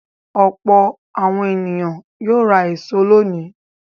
Ọ̀pọ̀ àwọn ènìyàn yóò ra èso lónìí.